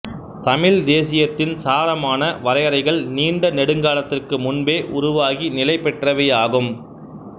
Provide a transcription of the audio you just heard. தமிழ்த்தேசியத்தின் சாரமான வரையறைகள் நீண்ட நெடுங்காலத்திற்கு முன்பே உருவாகி நிலைபெற்றவையாகும்